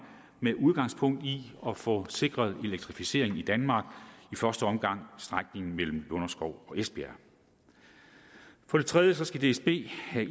med udgangspunkt i at få sikret elektrificeringen i danmark i første omgang strækningen mellem lunderskov og esbjerg for det tredje skal dsb have